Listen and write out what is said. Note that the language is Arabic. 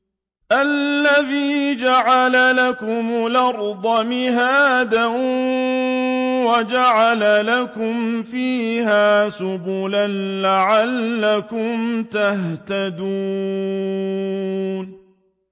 الَّذِي جَعَلَ لَكُمُ الْأَرْضَ مَهْدًا وَجَعَلَ لَكُمْ فِيهَا سُبُلًا لَّعَلَّكُمْ تَهْتَدُونَ